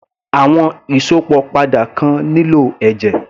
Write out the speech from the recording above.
Àwọn Ìsópọ̀ padà kan nílò ẹ̀jẹ̀